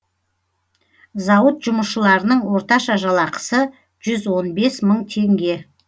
зауыт жұмысшыларының орташа жалақысы жүз он бес мың теңге